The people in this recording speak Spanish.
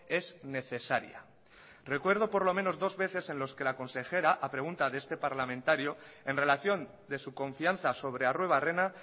es necesaria recuerdo por lo menos dos veces en los que la consejera a pregunta de este parlamentario en relación de su confianza sobre arruebarrena